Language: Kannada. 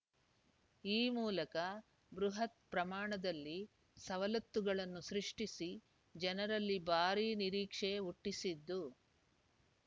ಈ ಮೂಲಕ ಬೃಹತ್‌ ಪ್ರಮಾಣದಲ್ಲಿ ಸವಲತ್ತುಗಳನ್ನು ಸೃಷ್ಟಿಸಿ ಜನರಲ್ಲಿ ಭಾರಿ ನಿರೀಕ್ಷೆ ಹುಟ್ಟಿಸಿದ್ದು